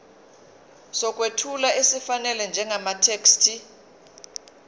sokwethula esifanele njengamathekisthi